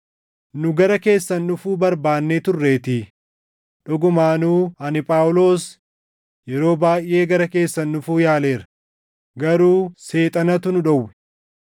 Nu gara keessan dhufuu barbaannee turreetii; dhugumaanuu ani Phaawulos yeroo baayʼee gara keessan dhufuu yaaleera; garuu Seexanatu nu dhowwe.